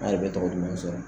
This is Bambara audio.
A bɛ tɔgɔ kun bɛ sɔrɔ.